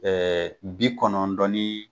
Ɛɛ bi kɔnɔntɔn ni